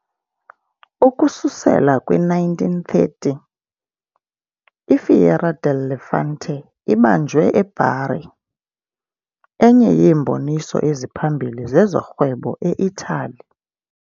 Ukususela kwi -1930, i- "Fiera del Levante" ibanjwe e-Bari, enye yeemboniso eziphambili zezorhwebo e-Italy.